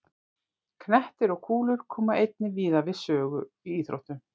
Knettir og kúlur koma einnig víða við sögu í íþróttum.